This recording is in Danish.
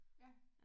Ja